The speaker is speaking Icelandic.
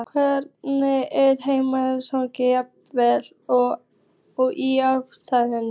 Hvergi er minnisleysið jafn afkastamikið og í ástarlífinu.